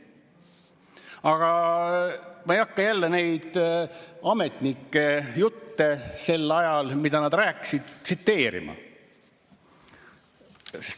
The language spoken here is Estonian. Aga ma ei hakka neid ametnike jutte sel ajal, mida nad rääkisid, tsiteerima.